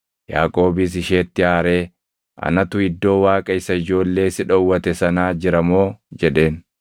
Yaaqoobis isheetti aaree, “Anatu iddoo Waaqa isa ijoollee si dhowwate sanaa jira moo?” jedheen.